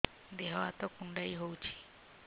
ଦେହ ହାତ କୁଣ୍ଡାଇ ହଉଛି